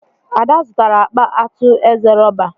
Ada zụtara akpa atu eze rọba.